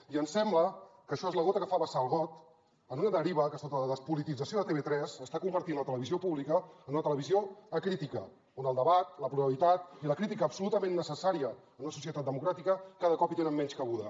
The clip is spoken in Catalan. i ens sembla que això és la gota que fa vessar el got en una deriva que sota la despolitització de tv3 està convertint la televisió pública en una televisió acrítica on el debat la pluralitat i la crítica absolutament necessària en una societat democràtica cada cop hi tenen menys cabuda